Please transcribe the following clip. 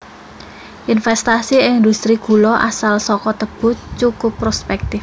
Investasi ing industri gula asal saka tebu cukup prospèktif